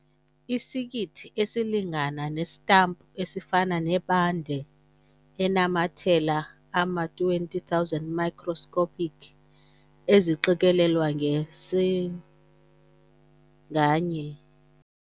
Isikiti esilingana nesitampu esifana ne-bande enamathela ama-20,000 microscopic eziqikelelweyo nge-cm nganye.